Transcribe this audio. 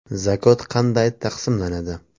Zakot qanday taqsimlanadi?.